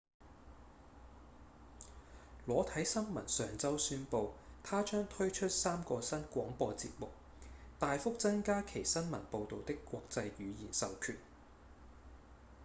裸體新聞上週宣布它將推出三個新廣播節目大幅增加其新聞報導的國際語言授權